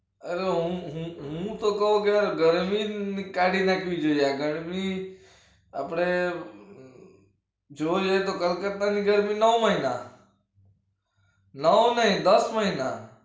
અરે હું કહું તો ગરમી કાઢી નાખવી જોઈએ આ ગરમી આપડે જોઈ એ તો કરકરતા ની ગરમી ના હોય ના નવ માં ય દસ માં ય ના હોય